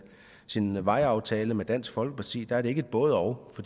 sin vejaftale med dansk folkeparti er det ikke et både og